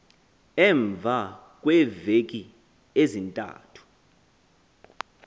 emva kweeveki ezintathu